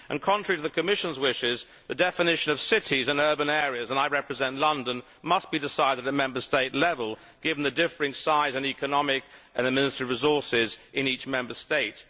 Contrary to the Commission's wishes, the definition of cities and urban areas and I represent London must be decided at Member State level, given the differing size and economic and administrative resources in each Member State.